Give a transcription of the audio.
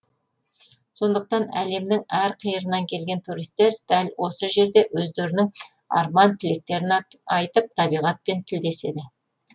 сондықтан әлемнің әрқиырынан келген туристер дәл осы жерде өздерінің арман тілектерін айтып табиғатпен тілдеседі